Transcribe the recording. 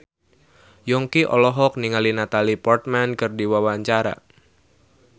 Yongki olohok ningali Natalie Portman keur diwawancara